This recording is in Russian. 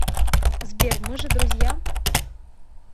сбер мы же друзья